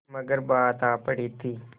मगर बात आ पड़ी थी